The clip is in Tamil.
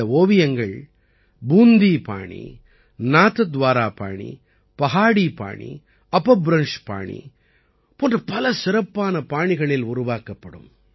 இந்த ஓவியங்கள் பூந்தி பாணி நாத்துவாரா பாணி பஹாடி பாணி அபப்ரம்ஷ் பாணி போன்ற பல சிறப்பான பாணிகளில் உருவாக்கப்படும்